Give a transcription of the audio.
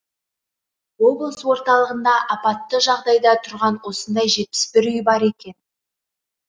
облыс орталығында апатты жағдайда тұрған осындай жетпіс бір үй бар екен